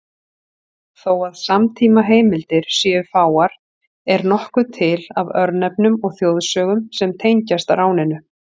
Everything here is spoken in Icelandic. Þó að samtímaheimildir séu fáar er nokkuð til af örnefnum og þjóðsögum sem tengjast ráninu.